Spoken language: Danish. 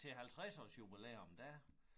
Til halvtredsårsjubilæum der